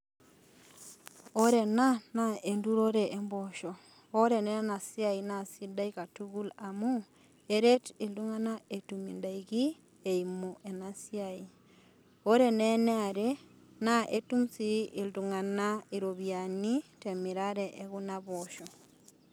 Ore ena naa enturore omposho naa ore naa enasiai naa sidai katukul amu eret iltunganak etum indaiki etum indaiki eimu enasiai ,ore naa eniare naa etum sii iltunganak iropiyiani temirare ekuna poosho.